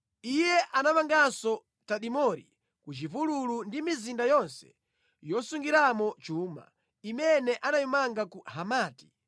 Iye anamanganso Tadimori ku chipululu ndi mizinda yonse yosungiramo chuma, imene anayimanga ku Hamati.